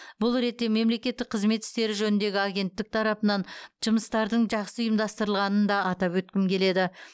бұл ретте мемлекеттік қызмет істері жөніндегі агенттік тарапынан жұмыстардың жақсы ұйымдастырылғанын да атап өткім келеді